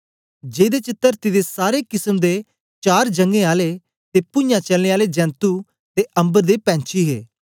जेदे च तरती दे सारे किसम दे चार जञें आले ते पूञाँ चलने आले जेंतु ते अम्बर दे पैंछी हे